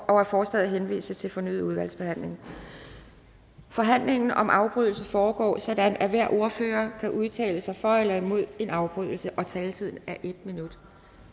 og at forslaget henvises til fornyet udvalgsbehandling forhandlingen om afbrydelse foregår sådan at hver ordfører kan udtale sig for eller imod en afbrydelse og taletiden er en minut